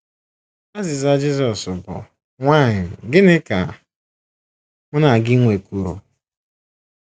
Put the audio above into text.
Azịza Jisọs bụ́, “ Nwanyị, gịnị ka Mụ na gị nwekọrọ? ”